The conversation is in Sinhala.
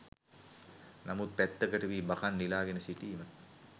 නමුත් පැත්තකට වී බකං නිලාගෙන සිටීම